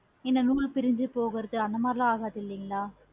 இந்த நூல் பிரிஞ்சி போறது அந்த மாதிரி எது ஆகாதுல